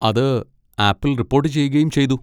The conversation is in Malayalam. അത് ആപ്പിൽ റിപ്പോട്ട് ചെയ്യുകയും ചെയ്തു.